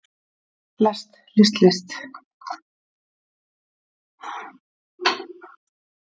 lest list líst